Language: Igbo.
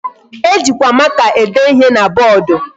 E jikwa maka ede ihe na board.